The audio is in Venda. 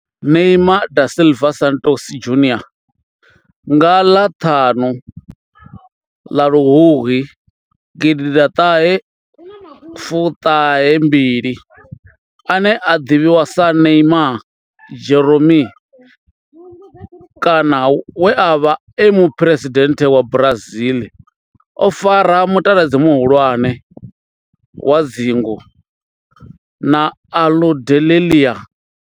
Neymar da Silva Santos Junior nga ḽa ṱhanu February gidi ḓa ṱahe fumi mbili, ane a ḓivhiwa sa Neymar' Jeromme kana we a vha e muphuresidennde wa Brazil o fara mutaladzi muhulwane wa dzingu na Aludalelia.